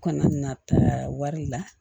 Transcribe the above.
U kana na taa wari la